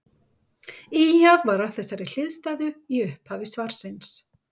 Ýjað var að þessari hliðstæðu í upphafi svarsins.